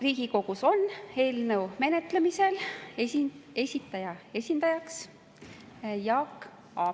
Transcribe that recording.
Riigikogus on eelnõu menetlemisel esindajaks Jaak Aab.